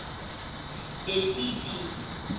besiki